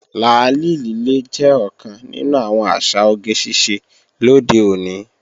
Làálì lílé jẹ́ ọ̀kan nínú àwọn àṣà oge ṣíṣe lóde òní